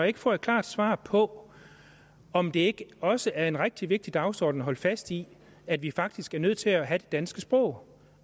ikke får et klart svar på om det ikke også er en rigtig vigtig dagsorden at holde fast i at vi faktisk er nødt til at have det danske sprog